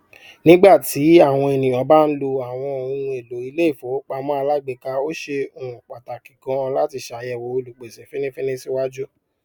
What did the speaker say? nígbàtí èniyàn bá ń lo àwọn ohunèlò iléìfowópamọ alágbéka ó ṣe um pàtàkì ganán láti ṣàyẹwò olùpèsè fínnífínní síwájú